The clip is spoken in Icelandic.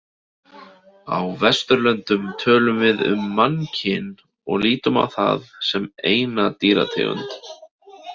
Á Vesturlöndum tölum við um mannkyn og lítum á það sem eina dýrategund.